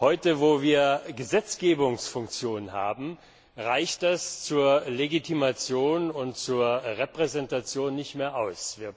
Heute, wo wir Gesetzgebungsfunktion haben, reicht das zur Legitimation und zur Repräsentation nicht mehr aus.